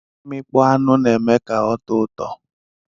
Imikpọ anụ na eme ka otọ ụtọ.